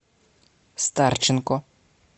старченко